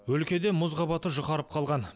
өлкеде мұз қабаты жұқарып қалған